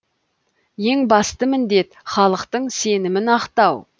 ең басты міндет халықтың сенімін ақтау